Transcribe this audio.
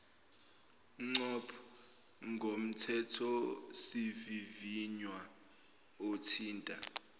ncop ngomthethosivivinywa othinta